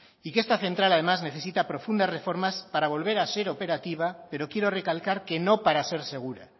y que esta central además necesita profundas reformas para volver a ser operativa pero quiero recalcar que no para ser segura